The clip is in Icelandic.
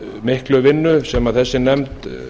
miklu vinnu sem þessi nefnd